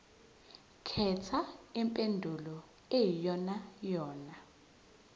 khetha impendulo eyiyonayona